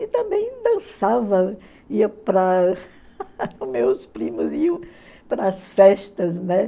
E também dançava, ia para meus primos iam para as festas, né?